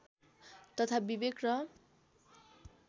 तथा विवेक र